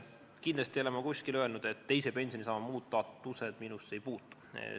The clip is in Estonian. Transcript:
Kindlasti ei ole ma kuskil öelnud, et teise pensionisamba muudatused minusse ei puutu.